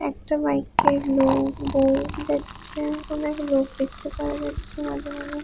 একটা বাইকের লোক বউ যাচ্ছে অনেক লোক দেখতে পাওয়া যাচ্ছে মাঝে মাঝে।